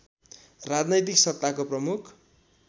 राजनैतिक सत्ताको प्रमुख